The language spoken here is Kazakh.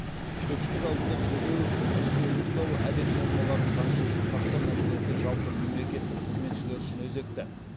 көпшілік алдында сөйлеу өзін өзі ұстау әдеп нормаларын заңдылықты сақтау мәселесі жалпы мемлекеттік қызметшілер үшін өзекті